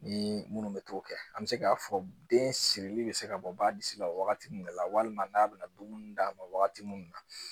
Ni munnu bɛ t'o kɛ an bɛ se k'a fɔ den sirili bɛ se ka bɔ ba disi la wagati minnu la walima n'a bɛ na dumuni d'a ma wagati mun na